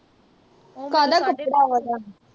ਕਾਹਦਾ ਕੱਪੜਾ ਵਾ ਉਹ ਦਾ